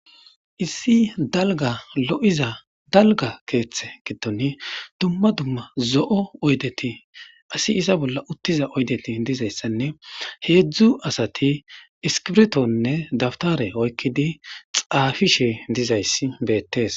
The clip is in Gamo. issi dalga lo7iza dalga keeththe giddon dumma dumma zo7o oydeti asi iza bolla uttiza oydeti dizayssanne heedzdzu asati iskirtonne dabtare oykkidi xaafishe dizayssi beettees